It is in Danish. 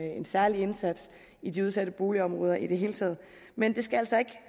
en særlig indsats i de udsatte boligområder i det hele taget men det skal altså ikke